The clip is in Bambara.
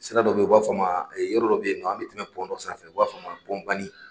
Sira dɔ bɛ yen u b'a fɔ ma yɔrɔ dɔ bɛ yen nɔ an bɛ tɛmɛ dɔ sanfɛ u b'a fɔ o a ma